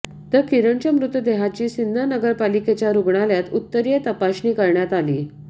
तर किरणचा मृतदेहाची सिन्नर नगरपालिकेच्या रुग्णालयात उत्तरीय तपासरणी करण्यात आली